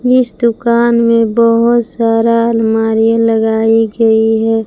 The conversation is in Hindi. इस दुकान में बहुत सारा अलमारियां लगाई गई है।